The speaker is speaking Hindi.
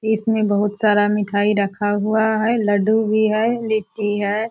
इसमें बहुत सारा मिठाई रखा हुआ हैं लड्डू भी है लिट्टी है।